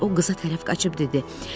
O qıza tərəf qaçıb dedi: